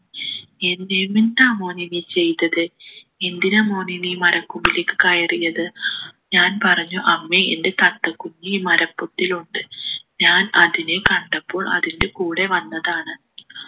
N എന്താ മോനെ നീ ചെയ്തത് എന്തിനാ മോനെ നീ മരക്കൊമ്പിലേക്ക് കയറിയത് ഞാൻ പറഞ്ഞു അമ്മേ എൻ്റെ തത്ത കുഞ്ഞ് ഈ മരപൊത്തിലുണ്ട് ഞാൻ അതിനെ കണ്ടപ്പോൾ അതിൻ്റെ കൂടെ വന്നതാണ്